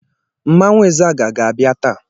Mmanwụ Izaga ga-abịa taa.